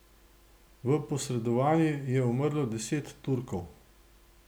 V posredovanju je umrlo deset Turkov.